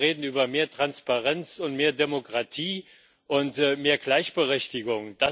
wir reden über mehr Transparenz und mehr Demokratie und mehr Gleichberechtigung.